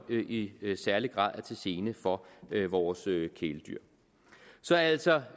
i særlig grad er til gene for vores kæledyr så altså